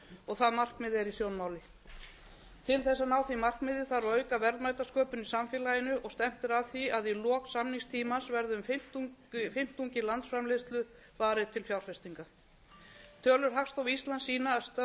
og það markmið er í sjónmáli til þess að ná því markmiði þarf að auka verðmætasköpun í samfélaginu og stefnt er að því að í lok samningstímans verði um fimmtungi landsframleiðslu varið til fjárfestinga tölur hagstofu íslands sýna að störfum hefur fjölgað um